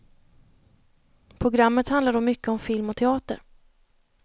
Programmet handlar då mycket om film och teater.